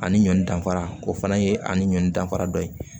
Ani ɲɔn danfara o fana ye ani ɲɔn danfara dɔ ye